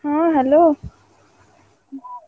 ହଁ Hello ହୁଁ।